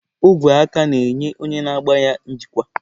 Ogwe aka na-enye onye na-agba ya njikwa.